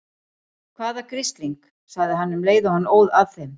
Hvaða grisling. sagði hann um leið og hann óð að þeim.